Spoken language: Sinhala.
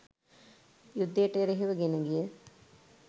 යුද්ධයට එරෙහිව ගෙනගිය